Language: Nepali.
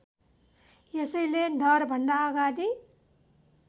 यसैले डरभन्दा अगाडि